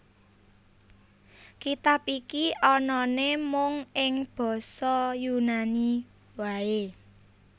Kitab iki anané mung ing basa Yunani waé